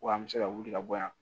Wa an bɛ se ka wuli ka bɔ yan